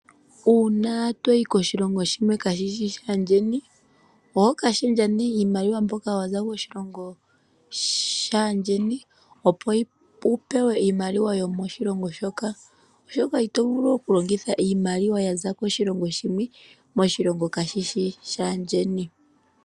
Uuna to yi koshilongo shimwe kaashishi shaayeni oho ka shendja nee iimaliwa mbyoka ya za koshilongo shaayeni opo wu pewe iimaliwa yomoshilongo shoka oshoka ito vulu okulongitha iimaliwa ya za koshilongo shimwe moshilongo kaashishi shaayeni.